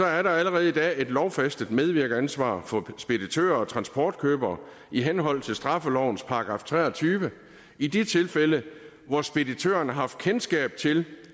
er der allerede i dag et lovfæstet medvirkeransvar for speditører og transportkøbere i henhold til straffelovens § tre og tyve i de tilfælde hvor speditørerne har haft kendskab til